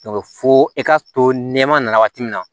fo e ka to nɛma na waati min na